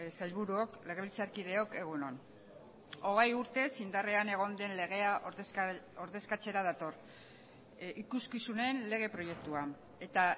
sailburuok legebiltzarkideok egun on hogei urtez indarrean egon den legea ordezkatzera dator ikuskizunen lege proiektua eta